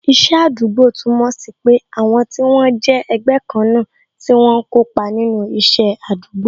Iṣẹ́ àdúgbò túmọ̀ sí pé àwọn tí wọ́n jẹ́ ẹgbẹ́ kan náà tí wọ́n ń kópa nínú isẹ àdúgbò